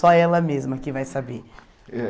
Só ela mesma que vai saber. Eh